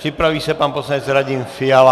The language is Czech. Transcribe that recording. Připraví se pan poslanec Radim Fiala.